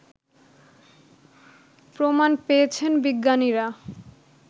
প্রমাণ পেয়েছেন বিজ্ঞানীরা